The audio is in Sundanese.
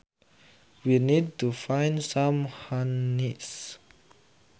We need to find some honeys